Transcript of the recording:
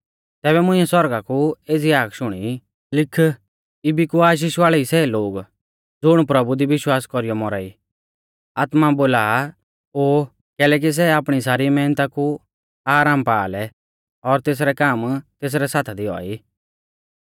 तैबै मुंइऐ सौरगा कु एज़ी हाक शुणी लिख इबी कु आशीष वाल़ै ई सै लोग ज़ुण प्रभु दी विश्वास कौरीयौ मौरा ई आत्मा बोला आ ओ कैलैकि सै आपणी सारी मैहनता कु आरामा पा लै और तेसरै काम तेसरै साथा दी औआ ई